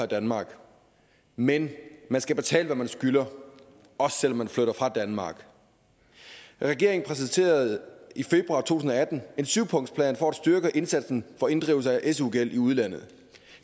danmark men man skal betale hvad man skylder også selv om man flytter fra danmark regeringen præsenterede i februar to tusind og atten en syvpunktsplan for at styrke indsatsen for inddrivelse af su gæld i udlandet